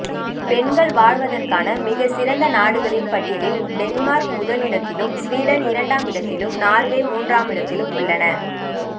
பெண்கள் வாழ்வதற்க்கான மிக சிறந்த நாடுகளின் பட்டியலில் டென்மார்க் முதலிடத்திலும் ஸ்வீடன் இரண்டாம் இடத்திலும் நார்வே மூன்றாம் இடத்திலும் உள்ளன